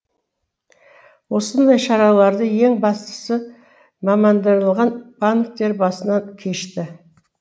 осындай шараларды ең бастысы мамандандырылған банктер басынан кешті